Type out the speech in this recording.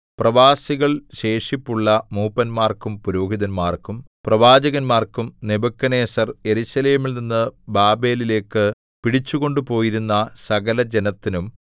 പ്രവാസികളിൽ ശേഷിപ്പുള്ള മൂപ്പന്മാർക്കും പുരോഹിതന്മാർക്കും പ്രവാചകന്മാർക്കും നെബൂഖദ്നേസർ യെരൂശലേമിൽ നിന്നു ബാബേലിലേക്കു പിടിച്ചു കൊണ്ടുപോയിരുന്ന സകലജനത്തിനും